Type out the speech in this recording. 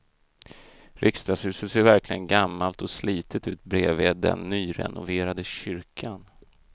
Riksdagshuset ser verkligen gammalt och slitet ut bredvid den nyrenoverade kyrkan.